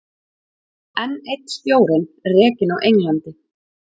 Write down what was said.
Enn einn stjórinn rekinn á Englandi